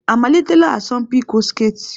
Ha amalitela asọmpi ịkwọ sketị?